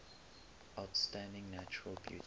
outstanding natural beauty